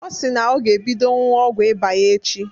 Ọ si na ọ ga-ebido ñyuwa ọgwu ịba ya echi.